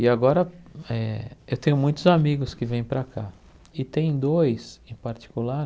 E agora, eh eu tenho muitos amigos que vêm para cá, e tem dois em particular,